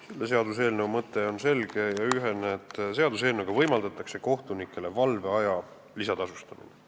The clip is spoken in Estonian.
Selle seaduseelnõu mõte on selge ja ühene: seaduseelnõuga võimaldatakse kohtunikele valveaja eest lisatasu maksta.